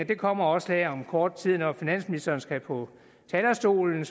det kommer også her om kort tid når finansministeren skal på talerstolen